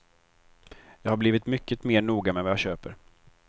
Jag har blivit mycket mer noga med vad jag köper.